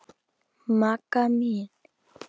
Magga mín.